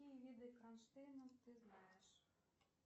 какие виды кронштейнов ты знаешь